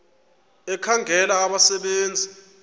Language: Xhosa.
ekhangela abasebe nzi